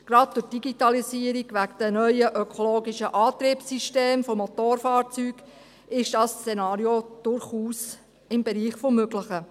Gerade durch die Digitalisierung und wegen den neuen, ökologischen Antriebssystemen von Motorfahrzeugen ist dieses Szenario durchaus im Bereich des Möglichen.